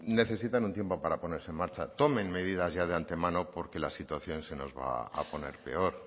necesitan un tiempo para ponerse en marcha tomen medidas ya de antemano porque la situación se nos va a poner peor